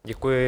Děkuji.